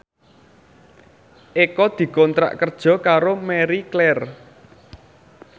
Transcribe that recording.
Eko dikontrak kerja karo Marie Claire